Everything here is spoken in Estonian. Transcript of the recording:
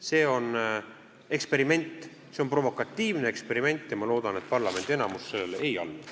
See on eksperiment, see on provokatiivne eksperiment ja ma loodan, et parlamendi enamus sellele ei allu.